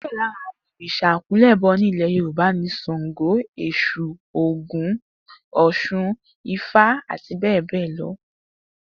Díè̩ lára àwo̩n òrìs̩à àkúnlè̩bo̩ ní ilè̩ Yorùbá ni S̩àngó, Ès̩ù, Ògún, Ò̩s̩un, Ifá, àti bé̩è̩ bé̩è̩ lo̩